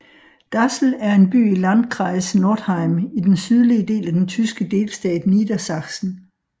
Dassel er en by i Landkreis Northeim i den sydlige del af den tyske delstat Niedersachsen